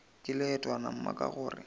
ke leetwana mma ka gore